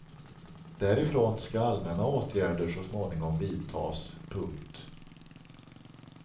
Därifrån ska allmänna åtgärder så småningom vidtas. punkt